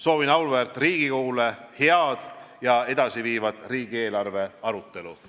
Soovin auväärt Riigikogule head ja edasiviivat riigieelarve arutelu.